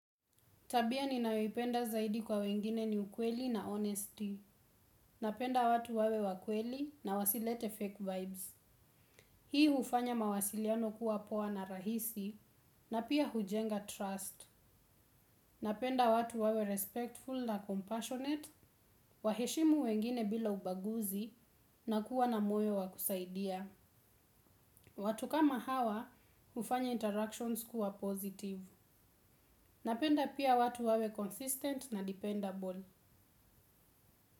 Tabia ni nayoipenda zaidi kwa wengine ni ukweli na honesty. Napenda watu wawe wakweli na wasilete fake vibes. Hii hufanya mawasiliano kuwa poa na rahisi na pia hujenga trust. Napenda watu wawe respectful na compassionate, waheshimu wengine bila ubaguzi na kuwa na moyo wakusaidia. Watu kama hawa ufanya interactions kuwa positive. Napenda pia watu wawe consistent na dependable.